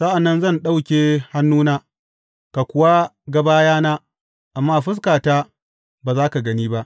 Sa’an nan zan ɗauke hannuna, ka kuwa ga bayana; amma fuskata, ba za ka gani ba.